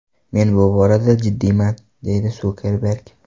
Men bu borada jiddiyman”, deydi Sukerberg.